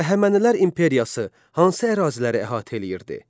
Əhəmənilər imperiyası hansı əraziləri əhatə eləyirdi?